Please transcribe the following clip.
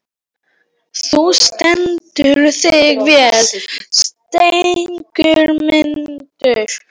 Þú stendur þig vel, Sigurmundur!